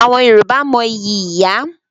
Àwọn Yorùbá mo ìyí ìyá.